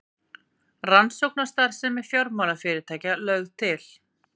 Rannsókn á starfsemi fjármálafyrirtækja lögð til